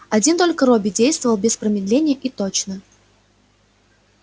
один только робби действовал без промедления и точно